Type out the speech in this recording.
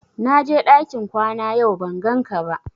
Na je ɗakin kwana yau ban gan ka ba